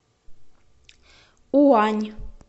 уань